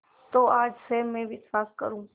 तो आज से मैं विश्वास करूँ